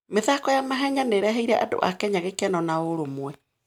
mĩthako ya mahenya nĩ ĩreheire andũ a Kenya gĩkeno na ũrũmwe.